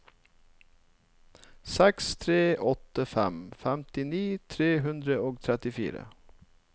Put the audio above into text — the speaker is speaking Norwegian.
seks tre åtte fem femtini tre hundre og trettifire